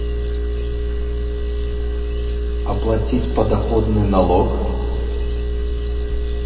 оплатить подоходный налог